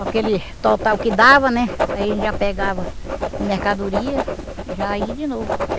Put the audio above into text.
Aquele total que dava, né aí a gente já pegava em mercadoria e já ia de novo.